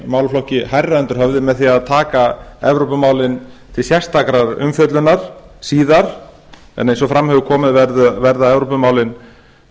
málaflokki hærra undir höfði með því að taka evrópumálin til sérstakrar umfjöllunar síðar en eins og fram hefur komið verða evrópumálin